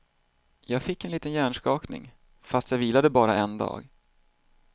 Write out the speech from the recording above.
Jag fick en liten hjärnskakning fast jag vilade bara en dag.